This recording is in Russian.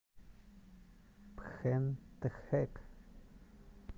пхентхэк